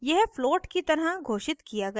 यह float float की तरह घोषित किया गया है